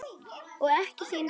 Og ekki þín sök.